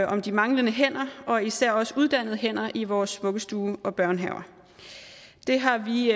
om de manglende hænder og især også uddannede hænder i vores vuggestuer og børnehaver det har vi